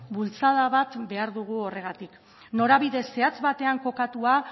bultzada bat behar dugu horregatik norabide zehatz batean kokatua